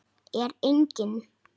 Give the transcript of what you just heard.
Er enginn?